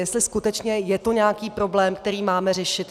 Jestli skutečně je to nějaký problém, který máme řešit.